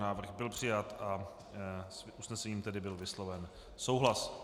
Návrh byl přijat a s usnesením byl tedy vysloven souhlas.